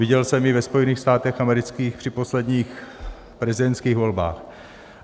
Viděl jsem ji ve Spojených státech amerických při posledních prezidentských volbách.